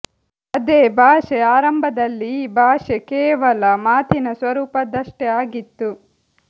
ಅದೇ ಭಾಷೆ ಆರಂಭದಲ್ಲಿ ಈ ಭಾಷೆ ಕೇವಲ ಮಾತಿನ ಸ್ವರೂಪ ದ್ದಷ್ಟೇ ಆಗಿತ್ತು